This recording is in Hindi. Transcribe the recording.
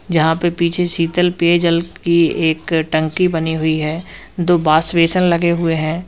यहां पे पीछे शीतल पेय जल की एक टंकी बनी हुई है दो वॉश बेसिन लगे हुए हैं।